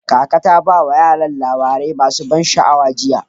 Kaka ta ba wa yaran labarai masu ban sha'awa jiya.